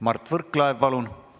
Mart Võrklaev, palun!